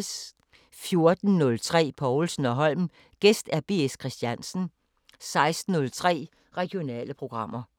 14:03: Povlsen & Holm: Gæst B. S. Christiansen 16:03: Regionale programmer